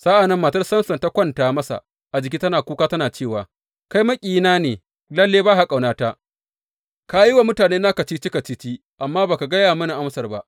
Sa’an nan matar Samson ta kwanta masa a jiki tana kuka tana cewa, Kai maƙiyina ne, lalle ba ka ƙaunata, ka yi wa mutanena kacici kacici, amma ba ka gaya mini amsar ba.